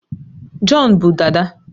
John bu dada